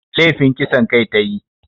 Lefin kisan kai ta yi